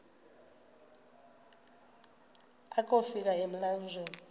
akofi ka emlanjeni